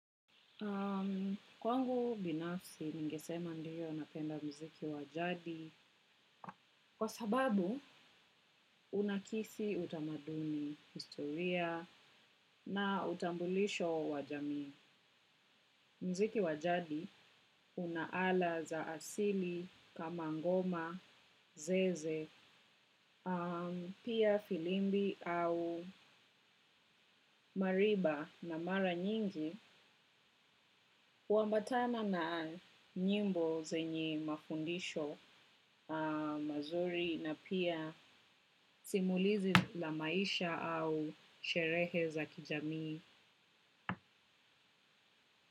Kwangu binafsi ningesema ndiyo napenda mziki wa jadi kwa sababu unakisi utamaduni historia na utambulisho wa jamii. Mziki wa jadi, una ala za asili, kama ngoma, zeze, pia filimbi au mariba na mara nyingi, uambatana na nyimbo zenye mafundisho mazuri na pia simulizi la maisha au sherehe za kijamii.